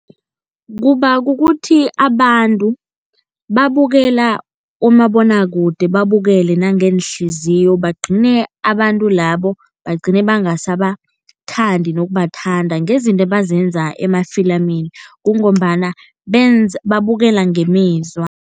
Kuba kukuthi abantu babukela umabonwakude babukele nangeenhliziyo, bagcine abantu labo bagcine bangasabathandi nokubathanda ngezinto ebazenza emafilimini kungombana babukela ngemizwa.